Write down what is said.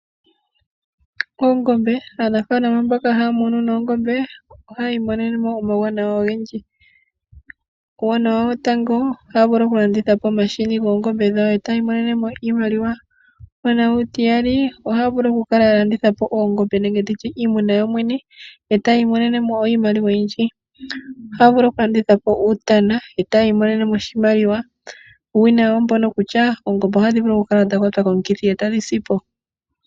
Aanafalama mboka haya munu oongombe ohaya mono mo uuwanawa owundji. Uuwanawa wotango itaya vulu okulanditha po omahini goongombe dhawo etaya mono iimaliwa, okulanditha po oongombe, uutana. Uuwinayi owo mbono kutya oongombe ohadhi vulu okukwatwa komukithi etadhi sipo.